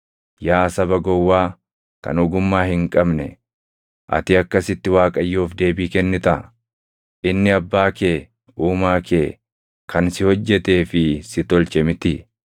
Yaa saba gowwaa, kan ogummaa hin qabne, ati akkasitti Waaqayyoof deebii kennitaa? Inni Abbaa kee, Uumaa kee, kan si hojjetee fi si tolche mitii?